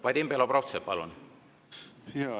Vadim Belobrovtsev, palun!